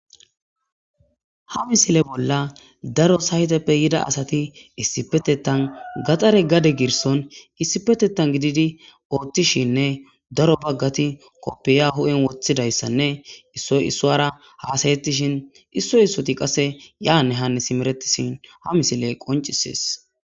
Ha misile bolla daro sayteppe yida asati issipetetan Gaxare gade girson issipetetan gidid otishininne daro Bagat kopiya hu'en wothidaysanne issoy issuwara hasa'ashin issoy issot qase yane Hanne simeretishn ha misiley qoncisesi.